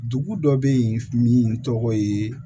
Dugu dɔ bɛ yen min tɔgɔ ye